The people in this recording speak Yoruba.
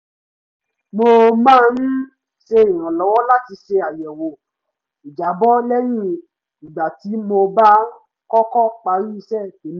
mo máa ń ṣe ìrànlọ́wọ́ láti ṣe àyẹ̀wò ìjábọ̀ lẹ́yìn ìgbà tí mo bá kọ́kọ́ parí iṣẹ́ tèmi